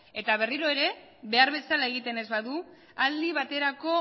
eta berriro ere behar bezala egiten ez badu aldi baterako